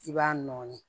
I b'a nɔɔni